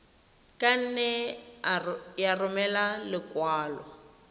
ka nne ya romela lekwalo